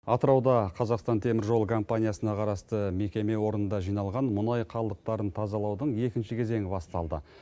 атырауда қазақстан темір жолы компаниясына қарасты мекеме орында жиналған мұнай қалдықтарын тазалаудың екінші кезеңі басталды